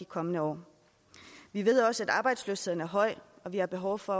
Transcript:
kommende år vi ved også at arbejdsløsheden er høj og vi har behov for